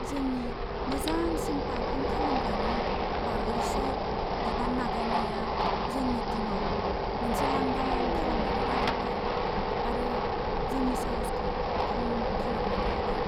जोंनि मोजांसिन पारफर्म खालामग्रानि बावैसो बिबान नागारनाया जोंनि टिमआव मोनसे लांदां खालामनानै गालांबाय आरो जोंनि साहसखौ खम खालामनानै होबाय।